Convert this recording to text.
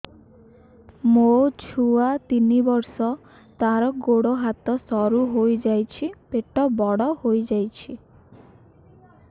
ମୋ ଛୁଆ ତିନି ବର୍ଷ ତାର ଗୋଡ ହାତ ସରୁ ହୋଇଯାଉଛି ପେଟ ବଡ ହୋଇ ଯାଉଛି